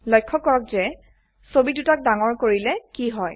লক্ষ্য কৰক যে ছবি দুটাক ডাঙৰ কৰিলে কি হয়